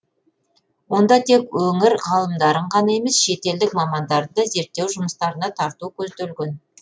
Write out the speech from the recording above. онда тек өңір ғалымдарын ғана емес шетелдік мамандарды зерттеу жұмыстарына тарту көзделген